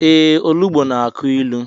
Ee, olugbo na-akụ ilu.